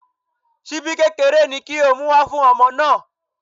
Ṣíbí kékeré ni kó o mú wá fún ọmọ náà.